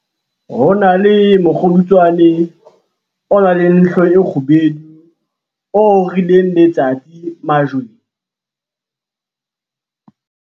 ho na le mokgodutswane o nang le hlooho e kgubedu o orileng letsatsi majweng